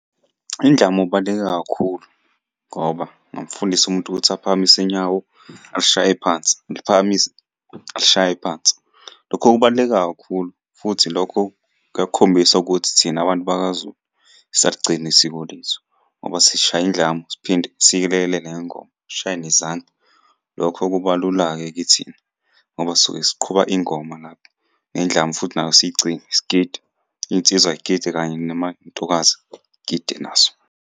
Indlamu kubaluleke kakhulu, ngoba ungamufundisa umuntu ukuthi aphakamise inyawo, ashaye phansi, ngiliphakamise ashaye phansi. Lokho kubaluleke kakhulu futhi lokho kuyakukhombisa ukuthi thina bantu bakaZulu siyaligcina isiko lethu, ngoba sishaya indlamu siphinde siyilekelele ngengoma. Sishaye nezandla. Lokho kuba lula-ke kithina, ngoba sisuke siqhuba ingoma lapho nendlamu futhi nayo siyicinge, sigide. Iy'nsizwa y'gide kanye namantokazi gide nazo.